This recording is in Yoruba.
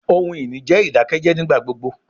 Ohun-ini jẹ idakẹjẹ nigbagbogbo